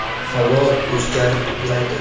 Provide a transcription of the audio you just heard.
Havo o‘zgarib turadi.